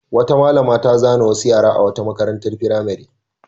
Wata malama ta zane wasu yara a wata makarantar firamare.